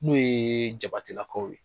N'o ye jabatelakaw ye.